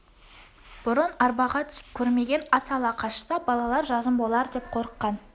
бұрын арбаға түсіп көрмеген ат ала қашса балалар жазым болар деп қорыққан